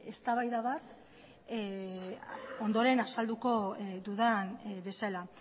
eztabaida bat ondoren azalduko dudan bezala